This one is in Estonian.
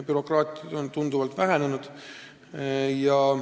Bürokraatia on tunduvalt vähenenud.